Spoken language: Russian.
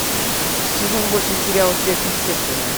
сезон восемь сериал сверхъестественное